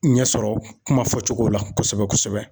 Ɲɛsɔrɔ kuma fɔcogo la kosɛbɛ kosɛbɛ.